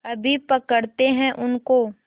अभी पकड़ते हैं उनको